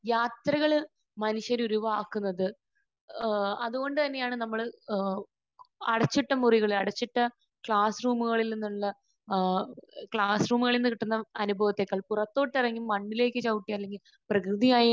യാത്രകൾ മനുഷ്യൻ ഒഴിവാക്കുന്നത് ഏഹ് അതുകൊണ്ട് തന്നെയാണ് നമ്മൾ ഏഹ് അടച്ചിട്ട മുറിയിൽ നിന്ന്, അടച്ചിട്ട ക്ലാസ്റൂമുകളിൽ നിന്ന് ഏഹ് ക്ലാസ്സ്‌റൂമിൽ നിന്ന് കിട്ടുന്ന അനുഭവത്തേക്കാൾ പുറത്തോട്ടിറങ്ങി മണ്ണിലേക്ക് ചവിട്ടി അല്ലെങ്കിൽ പ്രകൃതിയായി